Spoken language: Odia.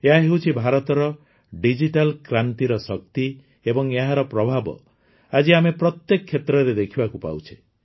ଏହାହେଉଛି ଭାରତର ଡିଜିଟାଲ କ୍ରାନ୍ତିର ଶକ୍ତି ଏବଂ ଏହାର ପ୍ରଭାବ ଆଜି ଆମେ ପ୍ରତ୍ୟେକ କ୍ଷେତ୍ରରେ ଦେଖିବାକୁ ପାଉଛେ